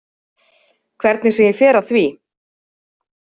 Hvernig sem ég fer að því.